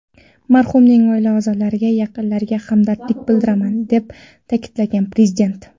Marhumning oila a’zolariga, yaqinlariga hamdardlik bildiraman”, deb ta’kidlagan Prezident.